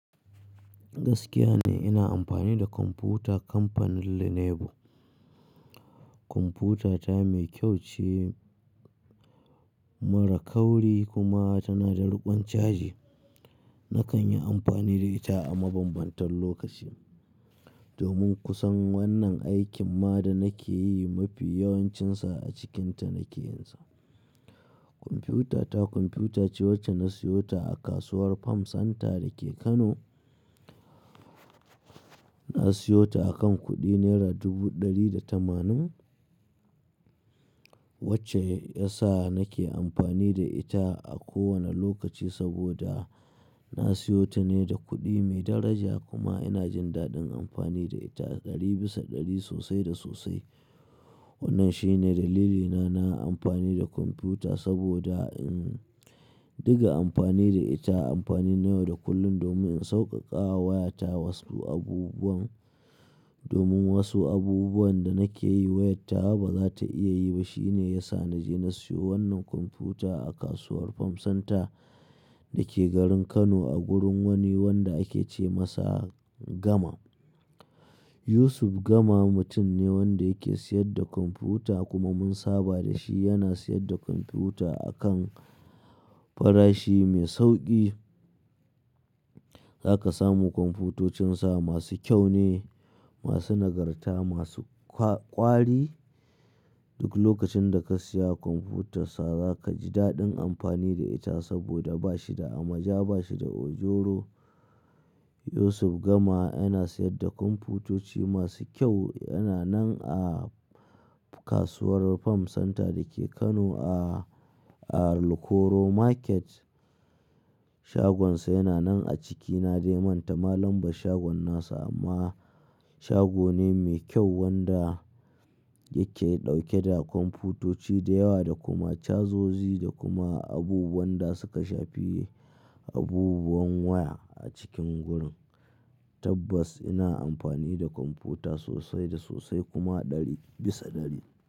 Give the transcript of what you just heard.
Gaskiya ne ina amfani da kwamfuta kamfanin Lenovo. Kwamfutata mai kyau ce, mara kauri kuma tana da ruƙon caji. Na kan yi amfani da ita a mabambantan lokaci. Domin kusan wannan aikin ma da nake yi mafi yawancinsa, a cikinta nake yin sa. Kwamfutata kwamfuta ce wacce na siyo ta a kasuwar Farm Center da ke Kano. Na siyo ta a kan kuɗi naira dubu ɗari da tamanin, wacce ya sa nake amfani da ita a kowane lokaci saboda, na siyo ta ne da kuɗi mai daraja kuma ina jin daɗin amfani da ita ɗari bisa ɗari sosai da sosai. Wannan shi ne dalilina na amfani da kwamfuta saboda, umm, diga amfani da ita amfani na yau da kullun domin in sauƙaƙawa wayata wasu abubuwan. Domin wasu abubuwan da nake yi wayata ba za ta iya yi ba. Shi ne ya sa na je na siyo wannan kwamfuta a kasuwar Farm Center, da ke garin Kano a gurin wani wanda ake ce masa Gama. Yusuf Gama mutum ne wanda yake siyar da kwamfuta kuma mun saba da shi. Yana siyar da kwamfuta a kan, farashi mai sauƙi. Za ka samu kwamfutocinsa masu kyau ne, masu nagarta, masu kwa-ƙwari. Duk lokacin da ka saya kwamfutarsa, za ka ji daɗin amfani da ita saboda ba shi da amaja, ba shi da ojoro. Yusuf Gama yana siyar da kwamfutoci masu kyau. Yana nan a, kasuwar Farm Center da ke Kano a, a Rokero Market. Shagonsa yana nan a ciki. Na dai manta malam bar shagon nasa amma, shago ne mai kyau wanda yake ɗauke da kwamfutoci da yawa, da kuma cazozyi, da kuma abubuwan da suka shafi abubuwan waya a cikin gurin. Tabbas ina amfani da kwamfuta sosai da sosai kuma ɗari bisa ɗari.